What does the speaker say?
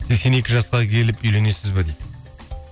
сексен екі жасқа келіп үйленесіз бе дейді